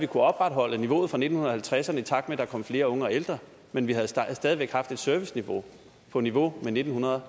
opretholde niveauet fra nitten halvtredserne i takt med at der kom flere unge og ældre men vi havde stadig væk haft et serviceniveau på niveau med nitten